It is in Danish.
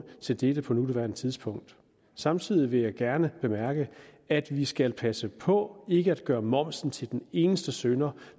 til dette på nuværende tidspunkt samtidig vil jeg gerne bemærke at vi skal passe på ikke at gøre momsen til den eneste synder